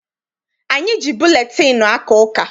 Anyị ji buletịịnụ aka ụka.